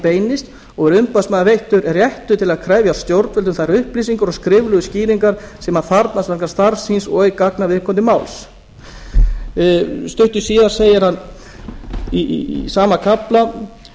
beinist og er umboðsmanni veittur réttur til að krefja stjórnvöld um þær upplýsingar og skriflegu skýringar sem hann þarfnast starfs síns og í gagna viðkomandi máls stuttu síðar segir hann í sama kafla það